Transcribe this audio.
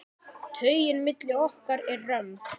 Taugin milli okkar er römm.